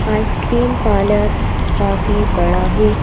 Ice cream parlour काफी बड़ा है।